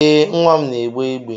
Ee, nwa m n'egbe igbe.